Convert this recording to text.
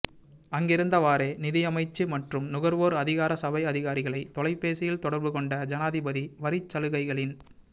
அங்கிருந்தவாறே நிதியமைச்சு மற்றும் நுகர்வோர் அதிகார சபை அதிகாரிகளை தொலைபேசியில் தொடர்புகொண்ட ஜனாதிபதி வரிச் சலுகைகளின்